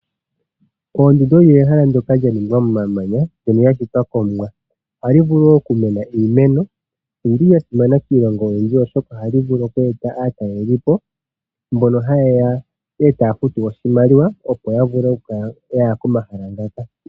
Oondundu olyo ehala ndoka lyaningwa momamanya mbyono yashitwa komuwa. Ohali vulu wo okumena iimeno. Oyili ya simana kiilongo oyindji oshoka ohali vulu okweeta aatalelipo mbono haye ya e taya futu oshimaliwa opo ya vule okukala yaya komahala ngaka.